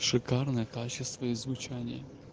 шикарное качество и звучание